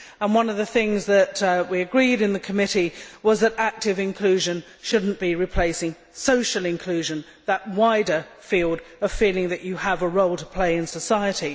One of the things we agreed in the committee was that active inclusion should not be replacing social inclusion, that wider field of feeling that you have a role to play in society.